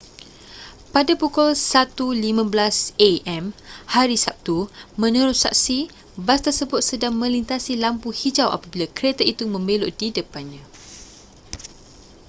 pada pukul 1.15 a.m. hari sabtu menurut saksi bas tersebut sedang melintasi lampu hijau apabila kereta itu membelok di depannya